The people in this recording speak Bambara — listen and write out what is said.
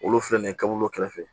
Olu filɛ nin ye kabakolo kɛrɛfɛ